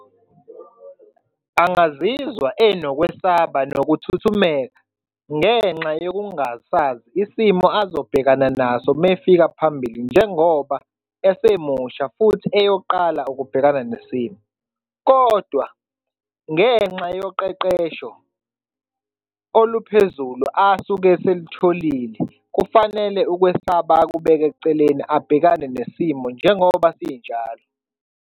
Angazizwa enokwesaba nokuthuthumela ngenxa yokungasazi isimo azobhekana naso uma efika phambili njengoba esemusha futhi eyoqala ukubhekana nesimo, kodwa ngenxa yoqeqesho oluphezulu asuke eselutholile kufanele ukwesaba akubeke eceleni, abhekane nesimo njengoba sinjalo.